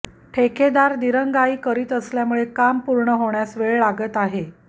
ठेकेदार दिरंगाई करीत असल्यामुळे काम पूर्ण होण्यास वेळ लागत आहे